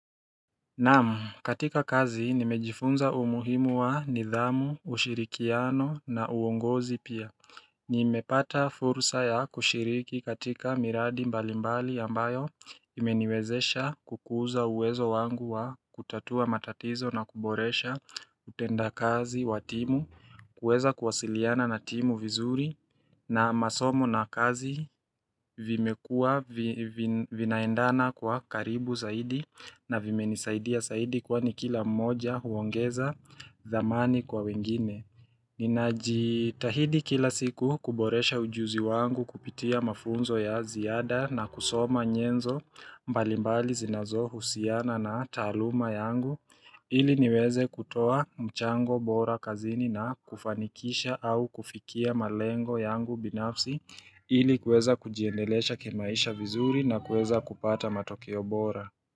Nam katika kazi nimejifunza umuhimu wa nidhamu, ushirikiano na uongozi pia Nimepata fursa ya kushiriki katika miradi mbalimbali ambayo imeniwezesha kukuza uwezo wangu wa kutatua matatizo na kuboresha utendakazi wa timu kuweza kuwasiliana na timu vizuri na masomo na kazi vimekuwa vinaendana kwa karibu zaidi na vimenisaidia zaidi kwani kila mmoja huongeza thamani kwa wengine. Ninajitahidi kila siku kuboresha ujuzi wangu kupitia mafunzo ya ziada na kusoma nyenzo mbalimbali zinazohusiana na taaluma yangu ili niweze kutoa mchango bora kazini na kufanikisha au kufikia malengo yangu binafsi ili kuweza kujiendelesha kimaisha vizuri na kuweza kupata matokeo bora.